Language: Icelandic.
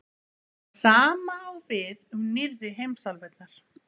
Það sama á við um nýrri heimsálfurnar.